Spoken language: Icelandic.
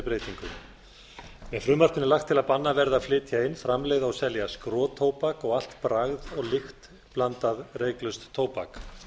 með frumvarpinu er lagt til að bannað verði að flytja inn framleiða og selja skrotóbak og allt bragð og lyktblandað reyklaust tóbak